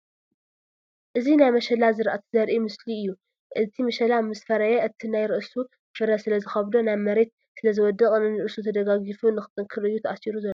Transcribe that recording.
እዚ ናይ መሸላ ዝራእቲ ዘርኢ ምስሊ እዩ፡፡ እቲ መሸላ ምስ ፈረየ እቲ ናይ ርእሱ ፍረ ስለዝከብዶ ናብ መሬት ስለ ዝወድቅ ነንርእሱ ተደጋጊፉ ንክጥንክር እዩ ተአሲሩ ዘሎ፡፡